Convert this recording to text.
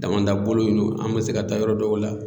Damanda bolo in no an bɛ se ka taa yɔrɔ dɔw la